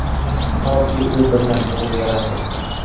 toki u bir narsaga yarasin.